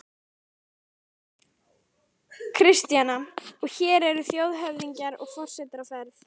Kristjana: Og hér eru þjóðhöfðingjar og forsetar á ferð?